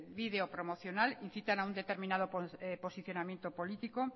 vídeo promocional incitan a un determinado posicionamiento político